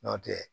N'o tɛ